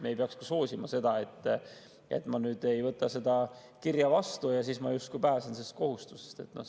Me ei peaks ka soosima seda, et ma ei võta mõnda kirja vastu ja siis justkui pääsen teatud kohustusest.